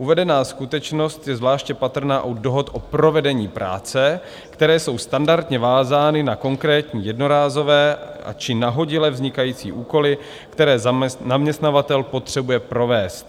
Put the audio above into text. Uvedená skutečnost je zvláště patrná u dohod o provedení práce, které jsou standardně vázány na konkrétní jednorázové či nahodile vznikající úkoly, které zaměstnavatel potřebuje provést.